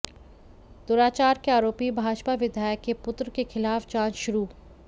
दुराचार के आरोपी भाजपा विधायक के पुत्र के खिलाफ जांच शुरु